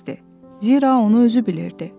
Zira onu özü bilirdi.